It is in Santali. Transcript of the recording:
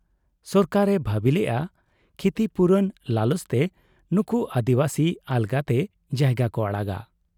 ᱥᱚᱨᱠᱟᱨ ᱮ ᱵᱷᱟᱹᱵᱤ ᱞᱮᱜ ᱟ ᱠᱷᱤᱛᱤᱯᱩᱨᱚᱱ ᱞᱟᱞᱚᱪ ᱛᱮ ᱱᱩᱠᱩ ᱟᱹᱫᱤᱵᱟᱹᱥᱤ ᱟᱞᱜᱟᱛᱮ ᱡᱟᱭᱜᱟ ᱠᱚ ᱟᱲᱟᱜᱟ ᱾